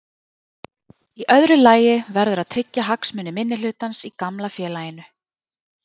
Í öðru lagi verður að tryggja hagsmuni minnihlutans í gamla félaginu.